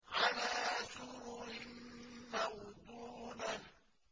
عَلَىٰ سُرُرٍ مَّوْضُونَةٍ